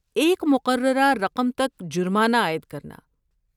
ایک مقررہ رقم تک جرمانہ عائد کرنا۔